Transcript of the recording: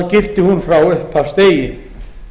gilti hún frá upphafsdegi